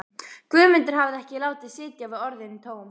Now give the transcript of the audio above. Guðmundur hafði ekki látið sitja við orðin tóm.